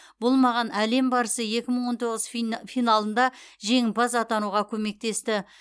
бұл маған әлем барысы екі мың он тоғыз финалында жеңімпаз атануға көмектесті